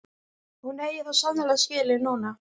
Hún eigi það svo sannarlega skilið núna.